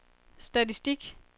statistik